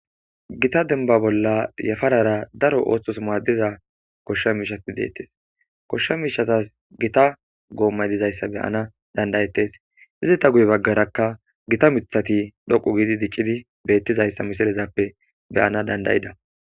gita denba bolla yafarara daro ooththos maaddiza koshsha miishati deettes koshsha miishatas gita goommay dizayssa beyana dandayettes izi ta guye baggarakka gita mithati dhoqu giidi diccidi beettizayssa misilezappe beyana dandayida.